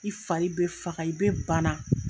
I fari bɛ faga i bɛ bana.